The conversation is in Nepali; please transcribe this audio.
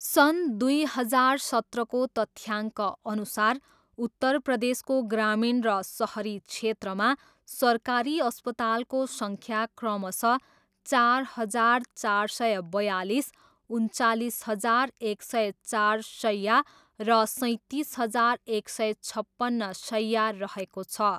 सन् दुई हजार सत्रको तथ्याङ्कअनुसार उत्तर प्रदेशको ग्रामीण र सहरी क्षेत्रमा सरकारी अस्पतालको सङ्ख्या क्रमशः चार हजार चार सय बयालिस, उन्चालिस हजार एक सय चार शय्या र सैँतिस हजार एक सय छप्पन्न शय्या रहेको छ।